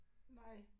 Nej